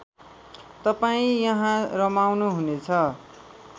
तपाईँ यहाँ रमाउनुहुनेछ